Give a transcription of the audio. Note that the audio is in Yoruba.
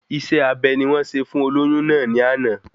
Isé abe ni wọ́n ṣe fún olóyún náà ni ana